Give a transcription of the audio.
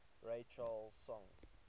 ray charles songs